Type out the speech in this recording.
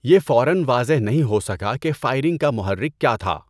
یہ فوراََ واضح نہیں ہو سکا کہ فائرنگ کا محرک کیا تھا۔